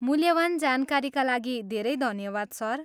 मूल्यवान जानकारीका लागि धेरै धन्यवाद सर।